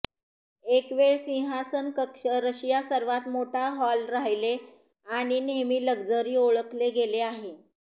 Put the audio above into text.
एक वेळ सिंहासन कक्ष रशिया सर्वात मोठा हॉल राहिले आणि नेहमी लक्झरी ओळखले गेले आहे